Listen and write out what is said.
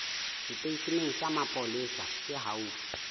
seteisheneng sa mapolesa se haufi